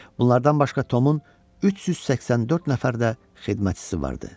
Bunlardan başqa Tomun 384 nəfər də xidmətçisi vardı.